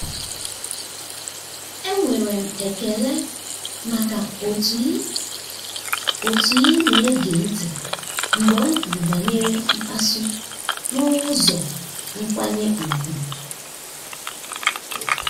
enwere m ekele maka otu ị otu ị na-ege ntị mgbe m kwuru banyere mkpasu n'ụzọ nkwanye ùgwù.